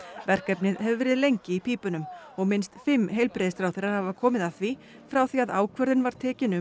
verkefnið hefur verið lengi í pípunum og minnst fimm heilbrigðisráðherrar hafa komið að því frá því að ákvörðun var tekin um